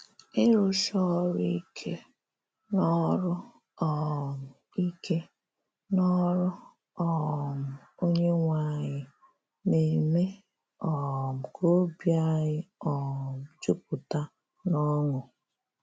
Ịrụ́si òrụ́ íké “n’òrụ́ um íké “n’òrụ́ um Onyenwe anyị” na-émè um ka óbì ànyị̀ um jùpùtá n’ọṅụ́.